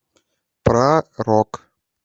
про рок